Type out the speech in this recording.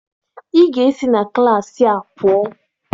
Ị ga-esi na klaasị a pụọ!